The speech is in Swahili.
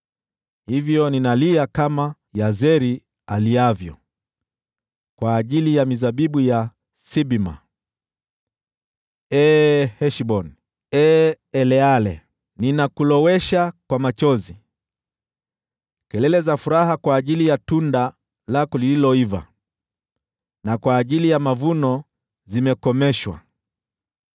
Hivyo ninalia kama Yazeri aliavyo, kwa ajili ya mizabibu ya Sibma. Ee Heshboni, ee Eleale, ninakulowesha kwa machozi! Kelele za furaha kwa ajili ya tunda lako lililoiva na kwa ajili ya mavuno zimekomeshwa.